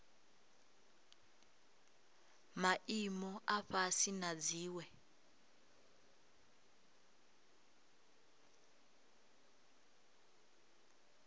maimo a fhasi na dziwe